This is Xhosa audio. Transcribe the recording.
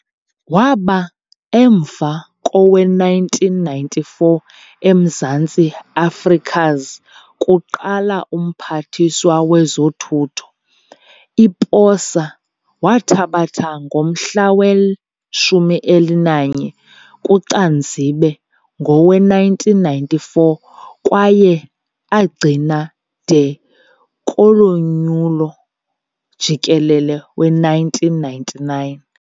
Waba emva kowe-1994 Emzantsi Afrika's kuqala Umphathiswa Wezothutho, i-posa wathabatha ngomhla we-11 Kucanzibe ngowe-1994 kwaye agcina de kolo nyulo jikelele we-1999.